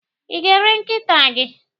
I ga- ere nkịta gi?